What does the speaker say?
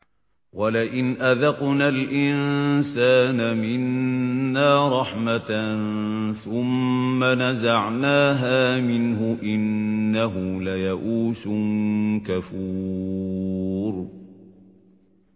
وَلَئِنْ أَذَقْنَا الْإِنسَانَ مِنَّا رَحْمَةً ثُمَّ نَزَعْنَاهَا مِنْهُ إِنَّهُ لَيَئُوسٌ كَفُورٌ